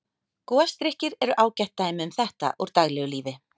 Gosdrykkir eru ágætt dæmi um þetta úr daglegu lífi.